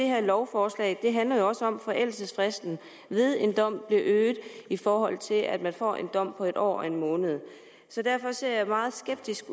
her lovforslag handler jo også om at forældelsesfristen ved en dom bliver øget i forhold til at man får en dom på en år og en måned så derfor ser jeg meget skeptisk